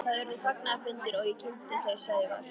Það urðu fagnaðarfundir og ég kynnti þau Sævar.